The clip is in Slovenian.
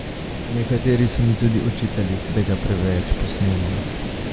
Nekateri so mi tudi očitali, da ga preveč posnemam.